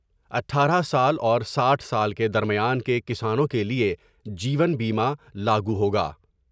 اٹھارہ سال اور ساٹھ سال کے درمیان کے کسانوں کے لئے جیون بیمہ لاگوہوگا ۔